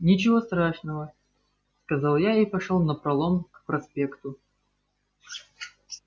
ничего страшного сказал я и пошёл напролом к проспекту